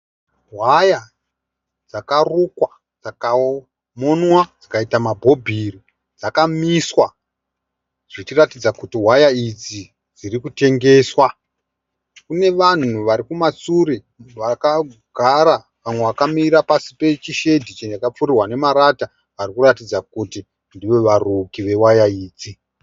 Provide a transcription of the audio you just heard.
Waya dzakarukwa, dzikamonwa dzikaitwa mabhobhi. Dzamiswa, zvichiratidza kuti waya idzi dzirikutengeswa. Kune vanhu varikumashure vakagara, vamwe vakamira pasi pechishedhi chakapfirirwa nemarata varikuratidza kuti ndivo varuki vewaya idzi.